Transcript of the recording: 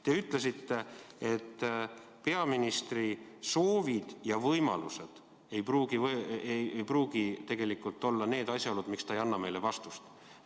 Te ütlesite, et peaministri soovid ja võimalused ei pruugi tegelikult olla need asjaolud, miks ta ei anna meile vastuseid.